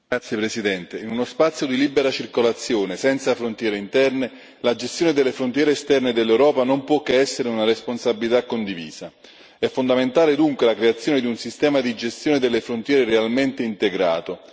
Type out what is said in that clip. Signora Presidente, onorevoli colleghi, in uno spazio di libera circolazione, senza frontiere interne, la gestione delle frontiere esterne dell'Europa non può che essere una responsabilità condivisa. È fondamentale, dunque, la creazione di un sistema di gestione delle frontiere realmente integrato.